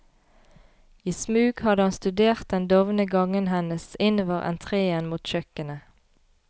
I smug hadde han studert den dovne gangen hennes innover entreen mot kjøkkenet.